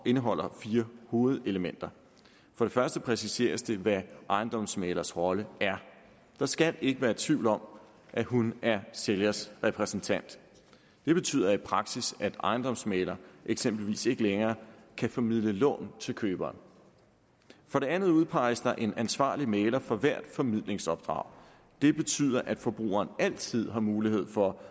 indeholder fire hovedelementer for det første præciseres det hvad ejendomsmæglers rolle er der skal ikke være tvivl om at hun er sælgers repræsentant det betyder i praksis at en ejendomsmægler eksempelvis ikke længere kan formidle lån til køberen for det andet udpeges der en ansvarlig mægler for hvert formidlingsopdrag det betyder at forbrugerne altid har mulighed for